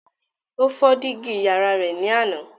Ó fọ́ dígí yàrá rẹ ní àná.